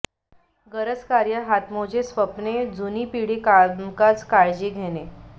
गरज कार्य हातमोजे स्वप्ने जुनी पिढी कामकाज काळजी घेणे